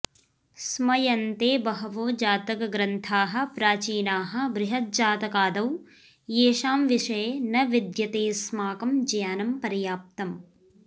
स्मयन्ते बहवो जातकग्रन्थाः प्राचीनाः बृहज्जातकादौ येषां विषये न विद्यतेऽस्माकं ज्ञानं पर्याप्तम्